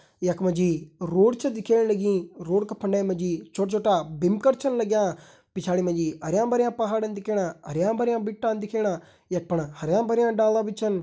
यख मा जी रोड छ दिखेण लगीं रोड का फंडे मा जी छोटा छोटा बिम कर छन लग्यां पिछाड़ी मा जी हरयां भरयां पहाड़न दिखेणा हरयां भरयां बिट्टा दिखेणा यख फण हरयां भरयां डाला भी छन।